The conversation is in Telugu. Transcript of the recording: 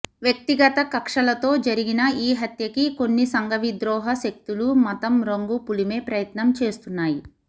వ్యక్తిగత కక్షలతో జరిగిన ఈ హత్యకి కొన్ని సంఘవిద్రోహ శక్తులు మతం రంగు పులిమే ప్రయత్నం చేస్తున్నాయి